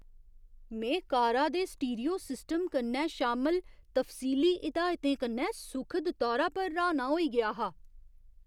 में कारा दे स्टीरियो सिस्टम कन्नै शामल तफसीली हिदायतें कन्नै सुखद तौरा पर र्हाना होई गेआ हा।